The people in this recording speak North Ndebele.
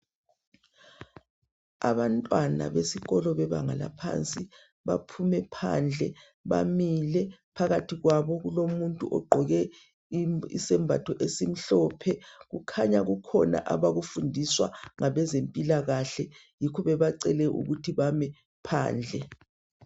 Abantwana besikolo bebanga laphansi baphume phandle bamile phakathi kwabo kulomuntu ogqoke isembatho esimhlophe kukhanya kukhona abakufundiswa ngabezempilakahle yikho bebacele ukuba bame phandle.